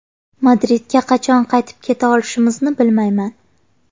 Madridga qachon qaytib keta olishimizni bilmayman.